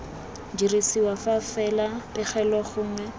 dirisiwa fa fela pegelo gongwe